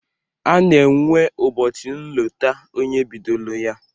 A na-enwe ụbọchị nlota onye bidolo ya